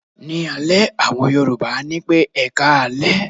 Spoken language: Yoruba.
Ní alẹ́, àwọn Yorùbá á ní pé "ẹkáalẹ́".